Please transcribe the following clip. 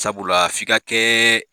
Sabula fika kɛɛ.